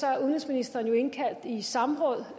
er udenrigsministeren jo kaldt i samråd